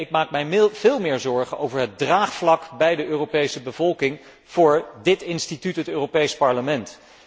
Nee, ik maak mij veel meer zorgen over het draagvlak bij de Europese bevolking voor dit instituut, het Europees Parlement.